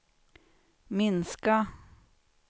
minska